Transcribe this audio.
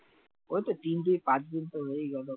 ওইতো তিন দুই পাঁচদিনতো হয়েই গেলো